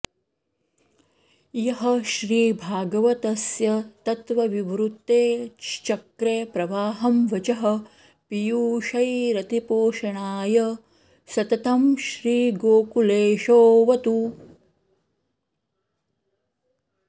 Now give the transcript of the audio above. यः श्रीभागवतस्य तत्त्वविवृतेश्चक्रे प्रवाहं वचः पीयूषैरतिपोषणाय सततं श्रीगोकुलेशोऽवतु